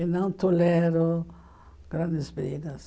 E não tolero grandes brigas.